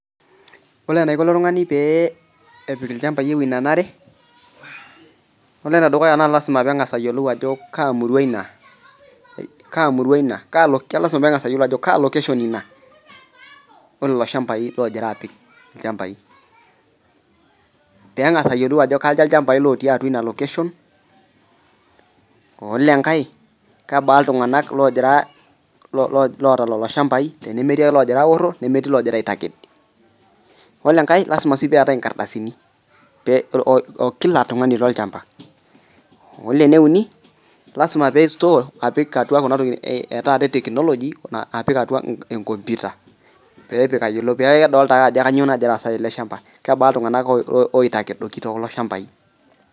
Ore enaiko ilo tung'ani pee epik ilchambai ewueji nanare, yiolo ene dukuya naa lazima peng'asa ayiolou ajo kaa murua ina, kaa murua ina, kaa lo ke lazima peeng'asa ayiolo ajo kaa location ina oo lelo shambai loojira apik ilchambai. Peeng'asa ayiolou ajo kaja ilchambai otii atua ina location, ole enkae kebaa iltung'anak loojira lo lo loota lelo shambai tenemetii ake loogira aaoro nemetii loojira aitaked. Ole enkae lazima sii peetai inkardasini pee oo oo kila tung'ani lolchamba. Ole ene uni lazima pee store pik atua kuna toki e taata e teknology apik atua enkomputa pee epik eyiolo pee edolta ake ajo kanyo nagira aasa tele shamba, kebaa iltung'anak oitakedoki too kulo shambai.